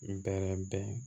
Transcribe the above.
N bɛrɛ bɛn